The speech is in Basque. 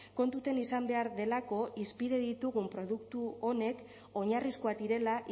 kontutan izan behar delako hizpide ditugun produktu honek oinarrizkoak direla